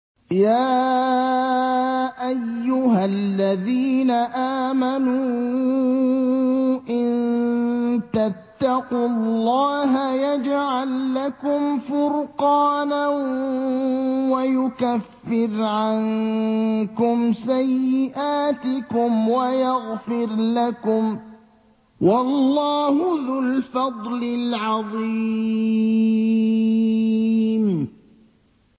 يَا أَيُّهَا الَّذِينَ آمَنُوا إِن تَتَّقُوا اللَّهَ يَجْعَل لَّكُمْ فُرْقَانًا وَيُكَفِّرْ عَنكُمْ سَيِّئَاتِكُمْ وَيَغْفِرْ لَكُمْ ۗ وَاللَّهُ ذُو الْفَضْلِ الْعَظِيمِ